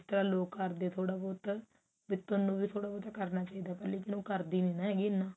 ਤਾਂ ਲੋਕ ਕਰਦੇ ਥੋੜਾ ਬਹੁਤ ਵੀ ਥੋਨੂੰ ਵੀ ਥੋੜਾ ਬਹੁਤ ਕਰਨਾ ਚਾਹੀਦਾ ਪਰ ਉਹ ਕਰਦੀ ਨੀ ਹੈਗੀ